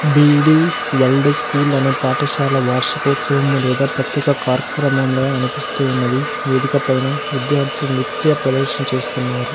BD world school అనే పాఠశాల వార్షికోత్సవము లేదా ప్రత్యేక కార్యక్రమంలో అనిపిస్తు ఉన్నది వేదిక పైన విద్యార్థులు నృత్య ప్రదర్శన చేస్తున్నారు.